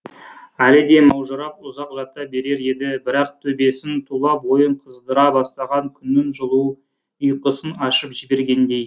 әлі де маужырап ұзақ жата берер еді бірақ төбесін тұла бойын қыздыра бастаған күннің жылуы ұйқысын ашып жібергендей